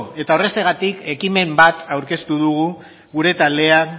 eta horrexegatik ekimen bat aurkeztu dugu gure taldea